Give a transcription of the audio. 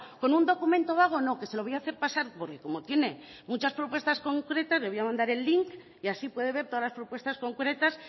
con un documento vago no que se lo voy a hacer pasar porque como tiene muchas propuestas concretas le voy a mandar el link y así puede ver todas las propuestas concretas